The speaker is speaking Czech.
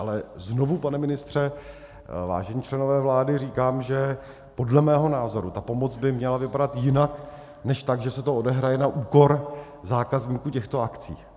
Ale znovu, pane ministře, vážení členové vlády, říkám, že podle mého názoru ta pomoc by měla vypadat jinak než tak, že se to odehraje na úkor zákazníků těchto akcí.